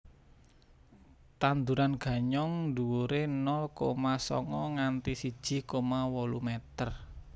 Tanduran ganyong dhuwuré nol koma songo nganti siji koma wolu meter